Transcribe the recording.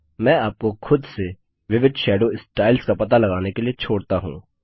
मैं आपको खुद से विविध शैडो स्टाइल्स का पता लगाने के लिए छोड़ता हूँ